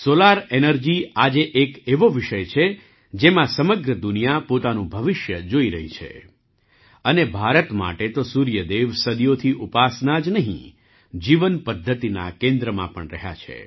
solar energy આજે એક એવો વિષય છે જેમાં સમગ્ર દુનિયા પોતાનું ભવિષ્ય જોઈ રહી છે અને ભારત માટે તો સૂર્ય દેવ સદીઓથી ઉપાસના જ નહીં જીવન પદ્ધતિના કેન્દ્રમાં પણ રહ્યા છે